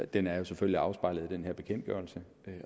den er jo selvfølgelig afspejlet i den her bekendtgørelse